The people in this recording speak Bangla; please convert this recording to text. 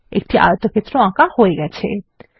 একটি আয়তক্ষেত্র আঁকা হয়ে গেছে160